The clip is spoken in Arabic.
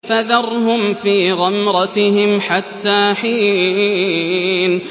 فَذَرْهُمْ فِي غَمْرَتِهِمْ حَتَّىٰ حِينٍ